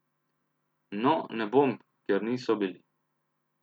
No, ne bom, ker niso bili.